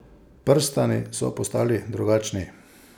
Prstani so postali drugačni.